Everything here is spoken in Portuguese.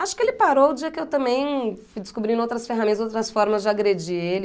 Acho que ele parou o dia que eu também fui descobrindo outras ferramentas, outras formas de agredir ele.